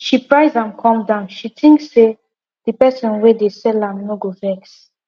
she price am come down she think say the person wey dey sell am no go vex